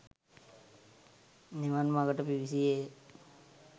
නිවන් මඟට පිවිසියේ ය.